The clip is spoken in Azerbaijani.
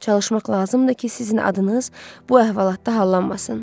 Çalışmaq lazımdır ki, sizin adınız bu əhvalatda hallanmasın.